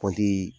Kɔnti